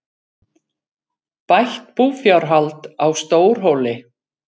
Bætt búfjárhald á Stórhóli